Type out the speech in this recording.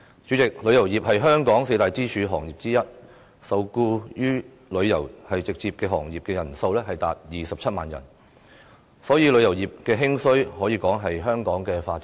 主席，旅遊業是香港四大支柱行業之一，直接受僱於旅遊業的人數達27萬人，所以，旅遊業的興衰可說是香港的發展命脈。